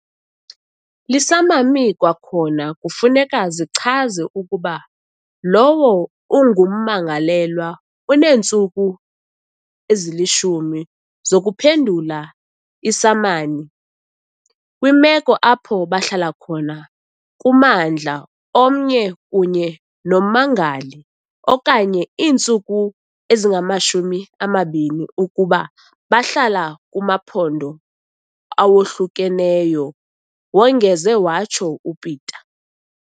"Iisamami kwakhona kufuneka zichaze ukuba lowo ungummangalelwa uneentsuku ezi-10 zokuphendula iisamani - kwimeko apho bahlala khona kummandla omnye kunye nommangali, okanye iintsuku ezingama-20 - ukuba bahlala kumaphondo awohlukeneyo," wongeze watsho uPeta.